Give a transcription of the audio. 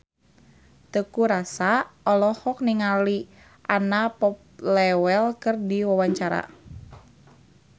Teuku Rassya olohok ningali Anna Popplewell keur diwawancara